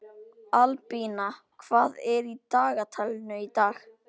Albína, hvað er í dagatalinu í dag?